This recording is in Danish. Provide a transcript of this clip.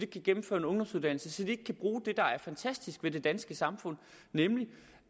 kan gennemføre en ungdomsuddannelse så de ikke kan bruge det der er fantastisk ved det danske samfund nemlig